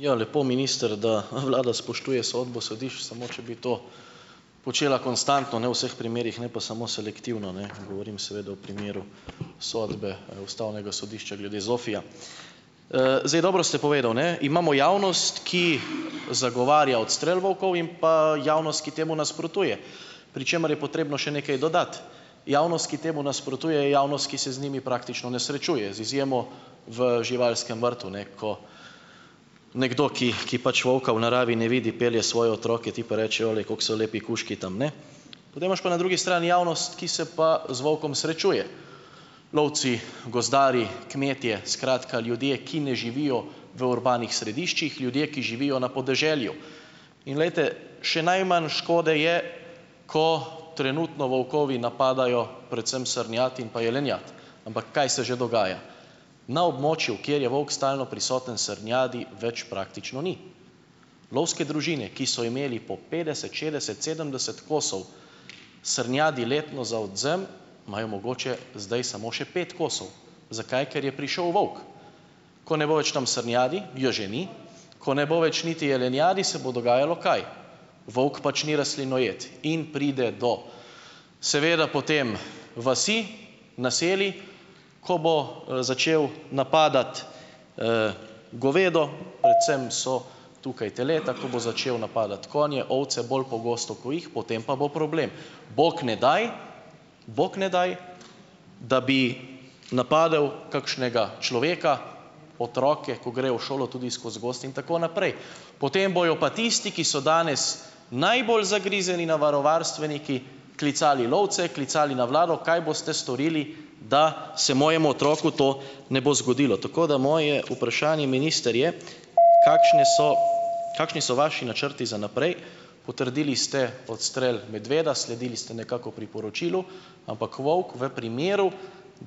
Ja, lepo minister, da, vlada spoštuje sodbo sodišč, samo če bi to počela konstantno, ne, v vseh primerih, ne pa samo selektivno, ne. Govorim seveda o primeru sodbe, ustavnega sodišča glede ZOFVI-ja. Zdaj dobro ste povedal, ne, imamo javnost, ki zagovarja odstrel volkov in pa javnost, ki temu nasprotuje, pri čemer je potrebno še nekaj dodati. Javnost, ki temu nasprotuje, je javnost, ki se z njimi praktično ne srečuje, z izjemo v živalskem vrtu, ne, ko nekdo, ki, ki pač volka v naravi ne vidi, pelje svoje otroke, ti pa rečejo: "Glej, kako so lepi kužki tam, ne?" Potem imaš pa na drugi strani javnost, ki se pa z volkom srečuje. Lovci, gozdarji, kmetje, skratka ljudje, ki ne živijo v urbanih središčih, ljudje, ki živijo na podeželju. In glejte, še najmanj škode je, ko trenutno volkovi napadajo predvsem srnjad in jelenjad, ampak kaj se že dogaja? Na območju, kjer je volk stalno prisoten, srnjadi več praktično ni. Lovske družine, ki so imele po petdeset, šestdeset, sedemdeset kosov srnjadi letno za odvzem, imajo mogoče zdaj samo še pet kosov. Zakaj? Ker je prišel volk. Ko ne bo več tam srnjadi, je že ni, ko ne bo več niti jelenjadi, se bo dogajalo kaj? Volk pač ni rastlinojed in pride do seveda potem vasi, naselij, ko bo, začel napadati, govedo, predvsem so tukaj teleta, ko bo začel napadati konje, ovce, bolj pogosto, ko jih, potem pa bo problem. Bog ne daj, Bog ne daj, da bi napadel kakšnega človeka, otroke, ko grejo v šolo tudi skozi gozd in tako naprej. Potem bojo pa tisti, ki so danes najbolj zagrizeni naravovarstveniki klicali lovce, klicali na vlado: "Kaj boste storili, da se mojemu otroku to ne bo zgodilo?" Tako da moje vprašanje minister je, kakšni so kakšni so vaši načrti za naprej? Potrdili ste odstrel medveda, sledili ste nekako priporočilu, ampak volk v primeru,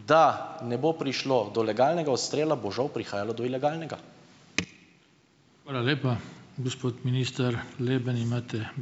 da ne bo prišlo do legalnega odstrela, bo žal prihajalo do ilegalnega.